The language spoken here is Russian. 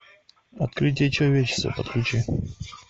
открытие человечества подключи